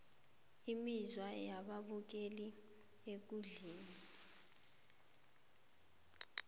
imizwa yababukeli ekundleni